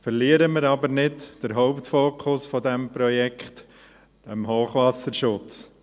Verlieren wir aber nicht den Hauptfokus dieses Projekts: den Hochwasserschutz.